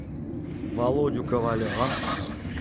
володю ковалева